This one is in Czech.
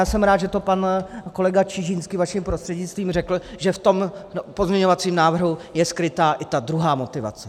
Já jsem rád, že to pan kolega Čižinský vaším prostřednictvím řekl, že v tom pozměňovacím návrhu je skrytá i ta druhá motivace.